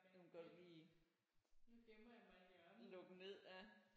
Nu vil godt lige lukke ned ja